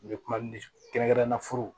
N bɛ kuma ni kɛrɛnkɛrɛnnenya furu